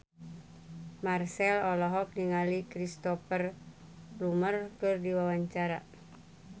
Marchell olohok ningali Cristhoper Plumer keur diwawancara